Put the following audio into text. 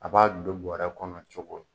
An b'a don buwarɛ kɔnɔ cogo di?